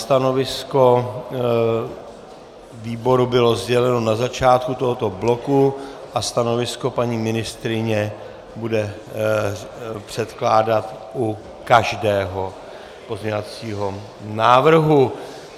Stanovisko výboru bylo sděleno na začátku tohoto bloku a stanovisko paní ministryně bude předkládat u každého pozměňovacího návrhu.